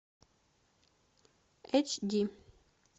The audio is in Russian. эйч ди